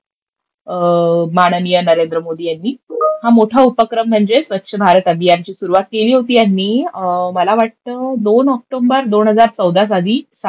माननीय नरेंद्र मोदी यांनी. हा मोठा उपक्रम म्हणजे स्वच्छ भारत अभियानची सुरुवात केली होती यांनी मला वाटतं दोन ऑक्टोबर दोन हजार चौदा सावी साली